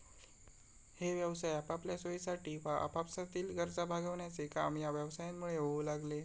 हे व्यवसाय आपापल्या सोयीसाठी वा आपापसातील गरजा भागविण्याचे काम या व्यवसायांमुळे होऊ लागले.